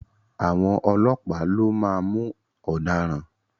À̀wọn ọlọ́pàá lo máa mú ọ̀daràn.